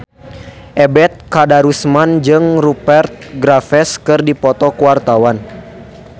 Ebet Kadarusman jeung Rupert Graves keur dipoto ku wartawan